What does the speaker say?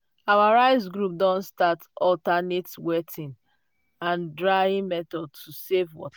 our rice group don start alternate wetting and drying method to save